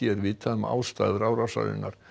er vitað um ástæður árásarinnar